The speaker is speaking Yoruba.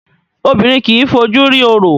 Obìnrin kìí fojú rí orò